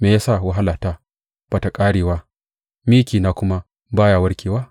Me ya sa wahalata ba ta ƙarewa mikina kuma ba ya warkuwa?